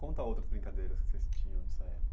Conta outras brincadeiras